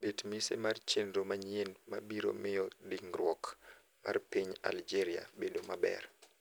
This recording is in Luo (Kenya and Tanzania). bet mise mar chenro manyien mabiro miyo dingruok mar piny Algeria bedo maber